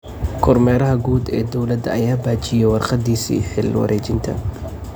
Kormeeraha guud ee dawladda ayaa baajiyay warqadiisi xil wareejinta.